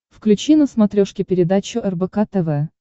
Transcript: включи на смотрешке передачу рбк тв